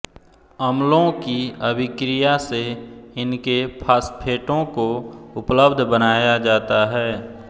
अम्लों की अभिक्रिया से इनके फास्फेटों को उपलब्ध बनाया जाता है